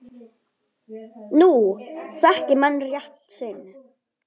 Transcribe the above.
Nú þekki menn rétt sinn.